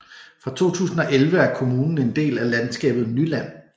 Fra 2011 er kommunen en del af landskabet Nyland